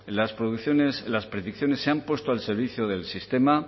las predicciones se han puesto al servicio del sistema